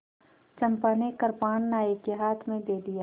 चंपा ने कृपाण नायक के हाथ में दे दिया